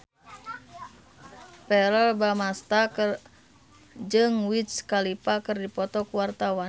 Verrell Bramastra jeung Wiz Khalifa keur dipoto ku wartawan